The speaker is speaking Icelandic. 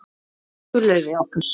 Elsku Laufey okkar.